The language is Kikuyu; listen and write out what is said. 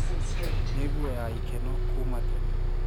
Ni guo ya ikeno kuuma tene.